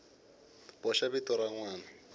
boxa vito ra n wana